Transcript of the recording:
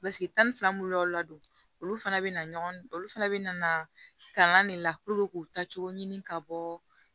tan ni fila b'u la don olu fana bɛna ɲɔgɔn olu fana bɛ na kalan de la puruke k'u ta cogo ɲini ka bɔ